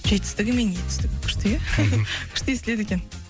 жетістігі мен етістігі күшті иә күшті естіледі екен